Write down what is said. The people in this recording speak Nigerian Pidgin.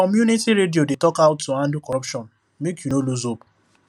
community radio dey talk how to handle corruption make you no lose hope